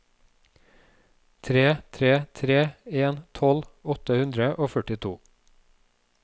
tre tre tre en tolv åtte hundre og førtito